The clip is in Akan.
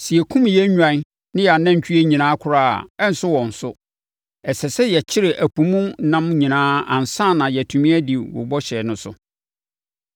Sɛ yɛkum yɛn nnwan ne yɛn anantwie nyinaa koraa a, ɛrenso wɔn so. Ɛsɛ sɛ yɛkyere ɛpo mu ɛnam nyinaa ansa na yɛatumi adi wo bɔhyɛ no so!”